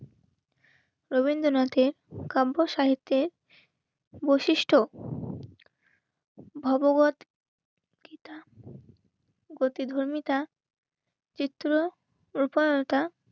রবীন্দ্রনাথের কাব্য সাহিত্যের বৈশিষ্ট্য ভগবৎ গীতা. গীতা. প্রতিধর্মিতা চিত্র রুপালতা